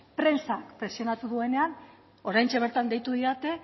prentsak presionatu duenean oraintxe bertan deitu didate